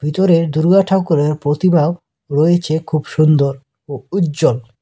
ভিতরে দুর্গাঠাকুরের প্রতিভাও রয়েছে খুব সুন্দর ও উজ্জ্বল।